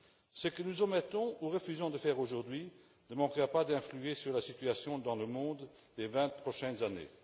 Ce que nous omettons ou refusons de faire aujourd'hui ne manquera pas d'influer sur la situation dans le monde les vingt prochaines années.